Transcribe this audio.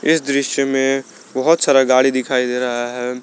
इस दृश्य में बहोत सारा गाड़ी दिखाई दे रहा है।